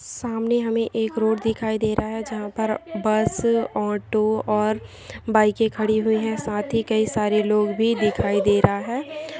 सामने हमे एक रोड दिखाई दे रहा है जहाँ पर बस ओटो और बीईके खड़ी हुई है साथ ही कई सारे लोग भी दिखाई दे रहा है ।